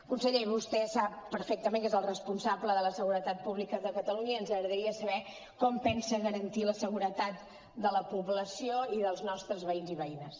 conseller vostè sap perfectament que és el responsable de la seguretat pública de catalunya i ens agradaria saber com pensa garantir la seguretat de la població i dels nostre veïns i veïnes